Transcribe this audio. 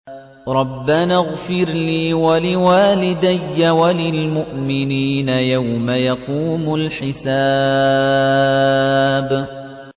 رَبَّنَا اغْفِرْ لِي وَلِوَالِدَيَّ وَلِلْمُؤْمِنِينَ يَوْمَ يَقُومُ الْحِسَابُ